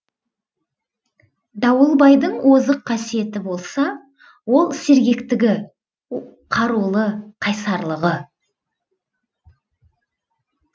дауылбайдың озық қасиеті болса ол сергектігі қарулы қайсарлығы